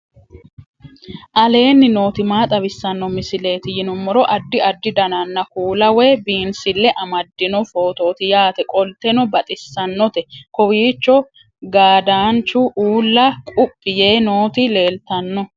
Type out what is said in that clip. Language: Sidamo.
aleenni nooti maa xawisanno misileeti yinummoro addi addi dananna kuula woy biinsille amaddino footooti yaate qoltenno baxissannote kowiicho gaadanchu ulla quphi yee nooti leltanno